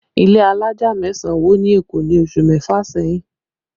Ilé alájà mẹ́sàn wó ni Èkó ní oṣù mẹ́fà sẹ́yìn